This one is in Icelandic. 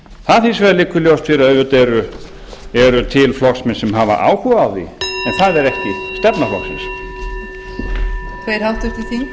það hins vegar liggur ljóst fyrir að auðvitað eru til flokksmenn sem hafa áhuga á því en það er ekki stefna flokksins